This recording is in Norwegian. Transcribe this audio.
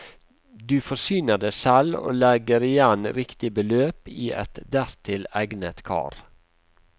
Du forsyner deg selv og legger igjen riktig beløp i et dertil egnet kar.